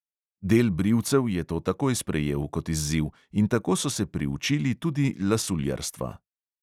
Del brivcev je to takoj sprejel kot izziv in tako so se priučili tudi lasuljarstva.